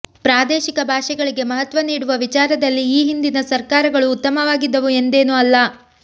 ಪ್ರಾದೇಶಿಕ ಭಾಷೆಗಳಿಗೆ ಮಹತ್ವ ನೀಡುವ ವಿಚಾರದಲ್ಲಿ ಈ ಹಿಂದಿನ ಸರ್ಕಾರಗಳು ಉತ್ತಮವಾಗಿದ್ದವು ಎಂದೇನೂ ಅಲ್ಲ